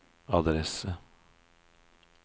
adresse